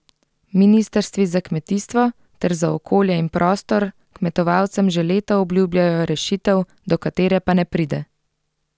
Ministrstvi za kmetijstvo ter za okolje in prostor kmetovalcem že leta obljubljajo rešitev, do katere pa ne pride.